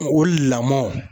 O lamɔ.